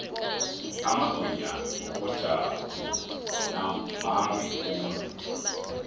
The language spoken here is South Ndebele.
amagwinya wakojabu mambi khulu